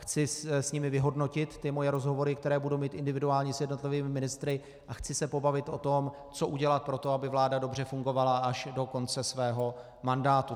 Chci s nimi vyhodnotit ty moje rozhovory, které budu mít individuálně s jednotlivými ministry, a chci se pobavit o tom, co udělat pro to, aby vláda dobře fungovala až do konce svého mandátu.